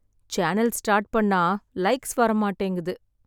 channel start பண்ண likes வரமாட்டேங்குது